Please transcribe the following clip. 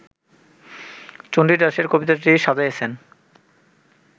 চণ্ডীদাসের কবিতাটি সাজাইয়াছেন